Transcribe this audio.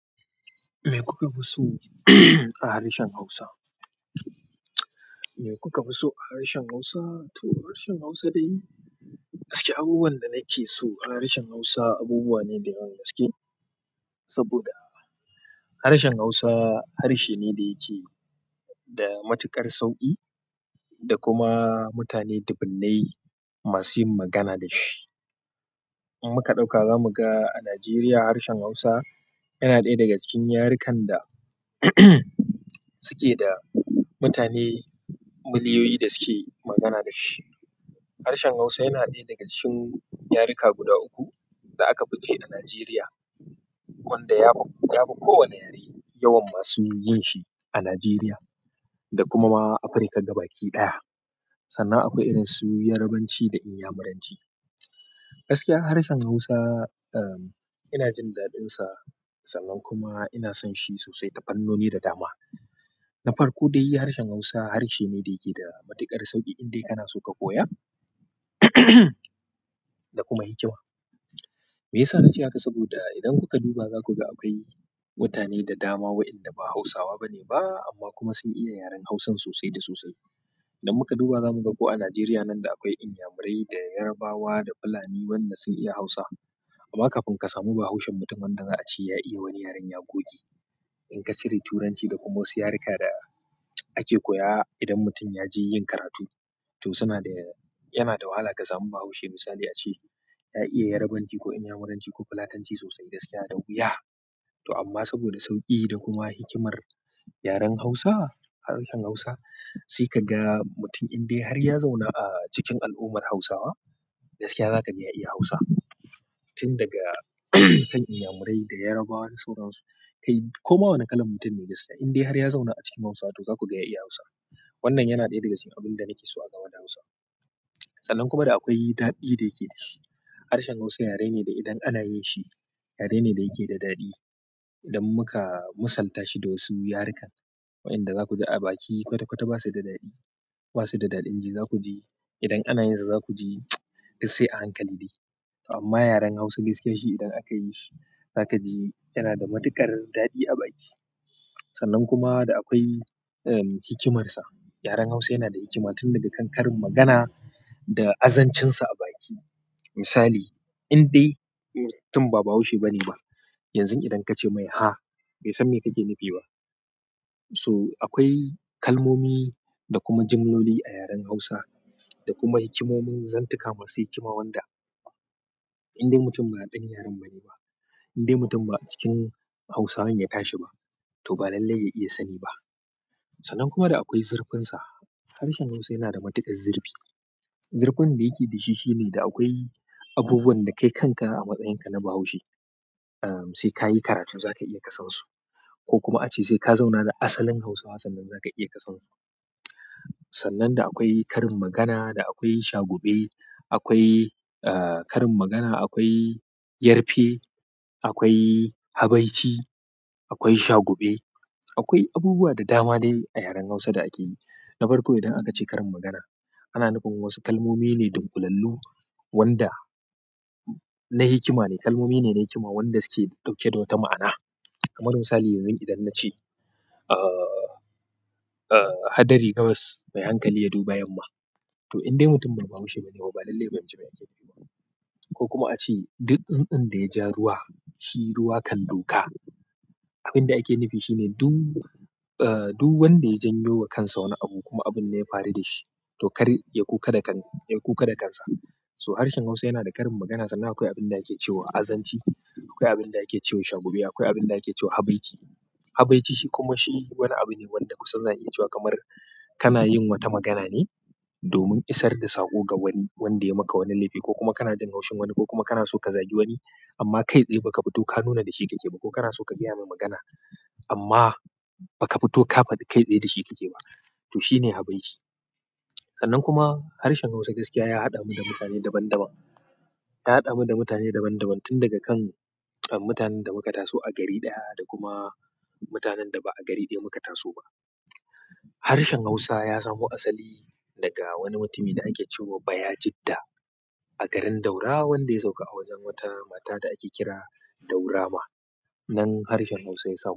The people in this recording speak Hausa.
Me kuka fi so a harshen Hausa? Me kuka fi so a harshen Hausa? To, harshen Hausa dai gaskiya, abubuwan da nake so a harshen Hausa abubuwa ne da yawan gaske. Saboda harshen Hausa harshe ne da yake da matuƙar sauƙi da kuma mutane dubunai masuyin magana da shi. In muka ɗauka zamu ga a Najeriya harshen Hausa yana ɗaya daga cikin yarukan da suke da mutane miliyoyi da suke magana da shi. Harshen Hausa yana ɗaya daga cikin yaruka guda uku da aka biji a Najeriya, wanda ya fi kowa yare yawan masu yin shi a Najeriya da kuma Afirka gaba kiɗaya. Sannan akwai irin su Yarabanci da Inyamuranci. Gaskiya harshen Hausa, uhm, ina jin daɗinsa, sannan kuma ina son shi sosai tafannoni da dama. Na farko dai harshen hausa harshe ne da yake da matuƙar sauƙi in dai kanso ka koya. Da kuma hikima. Me yasa na ce haka? Saboda idan kuka duba za ku ga akwai mutane da dama waɗanda ba Hausawa bane ba amma kuma sun iya yaren Hausan sosai da sosai. Idan muka duba zamu ga ko a Najeriya nan da akwai Inyamurai da Yarabawa da Fulani wanda sun iya Hausa. Amma kafin ka samu bahaushen mutum wanda za a ce ya iya wani yaren ya goge. In ka cire Turanci da kuma wasu yaruka da ake koya idan mutum ya je yin karatu. To, suna da, yana da wahala ka samu bahaushe misali a ce ya iya Yarabanci ko Inyamuranci ko Fulatanci sosai gaskiya da wuya. To amma saboda sauƙi da kuma hikimar yaren Hausa, harshen Hausa sai ka ga mutum indai har ya zauna a cikin al'ummar Hausawa gaskiya zaka ga ya iya Hausa. Tun daga kan Inyamurai da Yarabawa da sauran su. Kai koma wane kalan mutum ne gaskiya indai har ya zauna a cikin Hausa to za ku ga ya iya Hausa. Wannan yana ɗaya daga cikin abin da nake so a game da Hausa. Sannan kuma da akwai daɗi da yake da shi. Harshen Hausa yare ne da idan ana yin shi yare ne da yake da daɗi. Idan muka musaltashi da wasu yarukan, waɗanda za ku ji a baki kwata kwata ba su da daɗi. Ba su da daɗin ji za ku ji idan ana yin sa za ku ji da sai a hankali ne. Amma yaren Hausa gaskiya shi idan aka yi shi za ka ji yana da matuƙar daɗi a baki. Sannan kuma da akwai, uhm, hikimarsa. Yaren Hausa yana da hikima tun daga kan karin magana da azancinsa a baki. Misali, indai mutum ba bahaushe bane ba, yanzun idan ka ce mai, "Ha", bai san me kake nufi ba. So akwai kalmomi da kuma jimloli a yaren Hausa da kuma hikimomin zantuka masu hikima wanda indai mutum ba ɗan yaren bane ba, indai mutum ba cikin Hausawan ya tashi ba to ba lallai ya iya sani ba. Sannan kuma da akwai zurfin sa harshen hausa yanada matuƙar zurfi zurfin da yake dashi shine da akwai abubuwan da kai kanka a matsayin ka na bahaushe sekayi karatu zaka iya kasan su ko kuma ace seka zauna da asalin hausawa sannan zaka iya ka sansu sannan da akwai karin magana, da akwai shagube, akwai, uh, karin magana, akwai yarfe, akwai habaici, akwai shagube, akwai abubuwa da dama ne a yaren Hausa da ake yi. Na farko idan aka ce karin magana, ana nufin wasu kalmomi ne don kulallu wanda na hikima ne. Kalmomi ne na hikima wanda suke ɗauke da wata ma'ana. Kamar misali yanzu idan na ce, uh, uh, "Hadari gabas mai hankali ya duba yamma." To indai mutum ba bahaushe bane ba lallai ya fahimce me ake nufi ba. Ko kuma a ce, "Duk tsun tsun da ya ja ruwa shi ruwa kan duka." Abin da ake nufi shine duk, uh, duk wanda ya janyo wa kansa wani abu kuma abun ya fari da shi to kar ya kuka da kan, ya kuka da kansa. So harshen Hausa yana da karin magana sannan akwai abin da ake cewa azanci, akwai abin da ake cewa shagube, akwai abin da ake cewa habaici. Habaici shi kuma shi wani abu ne wanda kusa za a iya cewa kamar kana yin wata magana ne domin isar da saƙo ga wani wanda ya maka wani laifi ko kuma kana jan kaushin wani ko kuma kana so ka zagi wani amma kai tsaye baka fito ka nuna da shi ka keyi ba ko kana so ka gaya mai magana amma baka fito ƙafa kai tsaye da shi ka ke ba. To shine habaici. Sannan kuma harshen Hausa gaskiya ya haɗa mu da mutane daban daban. Ya haɗa mu da mutane daban daban tun daga kan, uhm, mutanen da muka taso a gari ɗaya da kuma mutanen da ba a gari ɗaya muka taso ba. Harshen Hausa ya samo asali daga wani mutumi da ake cewa Bayajida a garin Daura wanda ya sauka a wajen wata mata da ake kira Daura Ma. Nan harshen Hausa ya samu.